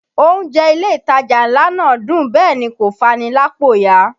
Oúnjẹ ilé ìtajà ńlá náà dùn bẹ́ẹ̀ ni kò fani lápò ya